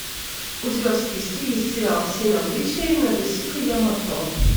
у тебя в списке есть сериал семь обличий надэсико ямато